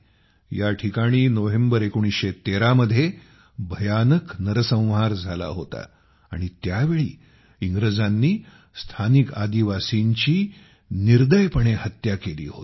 या ठिकाणी नोव्हेंबर 1913 मध्ये भयानक नरसंहार झाला होता आणि त्यावेळी इंग्रजांनी स्थानिक आदिवासींची निर्दयपणे हत्या केली होती